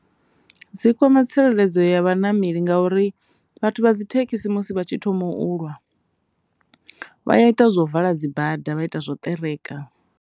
Dzi kwama tsireledzo ya vhanameli ngauri vhathu vha dzi thekhisi musi vha tshi thoma u lwa vha ya ita zwa u vala dzibada vha ita zwa u ṱereka.